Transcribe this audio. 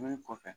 Wuli kɔfɛ